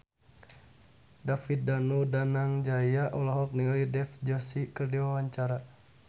David Danu Danangjaya olohok ningali Dev Joshi keur diwawancara